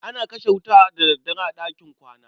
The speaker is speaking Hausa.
ana kashe wuta da daddare a ɗakin kwana.